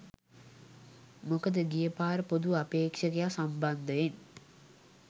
මොකද ගිය පාර පොදු අපේක්ෂකයා සම්බන්ධයෙන්